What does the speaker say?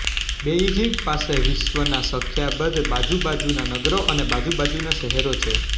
Beijing પાસે વિશ્વના સંખ્યાબંધ બાજુ બાજુના નગરો અને બાજુ બાજુના શહેરો છે